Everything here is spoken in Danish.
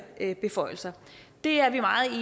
her beføjelser det er vi meget